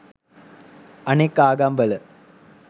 අනෙක් ආගම් වල